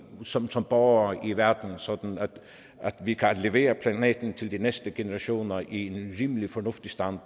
som som borgere i verden sådan at vi kan aflevere planeten til de næste generationer i en rimelig fornuftig stand